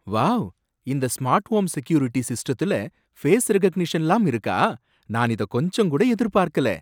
Wow! இந்த smart home security சிஸ்டத்துல face ரெகக்னிஷன்லாம் இருக்கா? நான் இத கொஞ்சங்கூட எதிர்பார்க்கல.